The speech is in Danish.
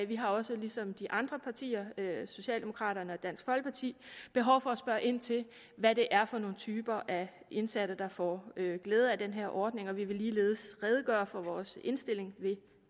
vi har også ligesom de andre partier socialdemokraterne og dansk folkeparti behov for at spørge ind til hvad det er for nogle typer af indsatte der får glæde af den her ordning og vi vil ligeledes redegøre for vores indstilling ved